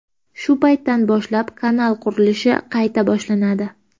Shu paytdan boshlab kanal qurilishi qayta boshlanadi.